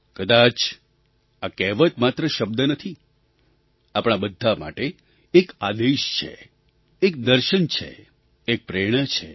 કદાચ આ કહેવત માત્ર શબ્દ નથી આપણા બધા માટે એક આદેશ છે એક દર્શન છે એક પ્રેરણા છે